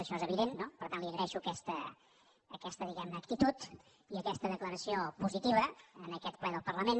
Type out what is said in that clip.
això és evident no per tant li agraeixo aquesta actitud i aquesta declaració positiva en aquest ple del parlament